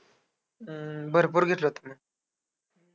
हम्म भरपूर घेतलवतं मग.